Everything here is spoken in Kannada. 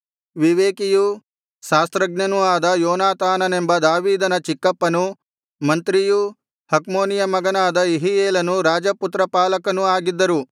ವಿವೇಕಿಯೂ ಶಾಸ್ತ್ರಜ್ಞನೂ ಆದ ಯೋನಾತಾನನೆಂಬ ದಾವೀದನ ಚಿಕ್ಕಪ್ಪನು ಮಂತ್ರಿಯೂ ಹಕ್ಮೋನಿಯ ಮಗನಾದ ಯೆಹೀಯೇಲನು ರಾಜಪುತ್ರಪಾಲಕನೂ ಆಗಿದ್ದರು